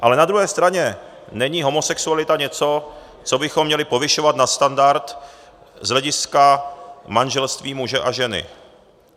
Ale na druhé straně není homosexualita něco, co bychom měli povyšovat na standard z hlediska manželství muže a ženy.